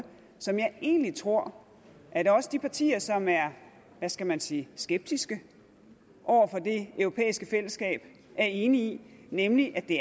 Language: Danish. som jeg egentlig tror at også de partier som er hvad skal man sige skeptiske over for det europæiske fællesskab er enige i nemlig at det